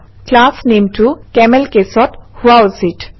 ক্লাছনেমটো CamelCase অত হোৱা উচিত